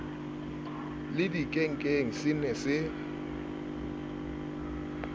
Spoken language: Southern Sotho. le dikenkeng se ne se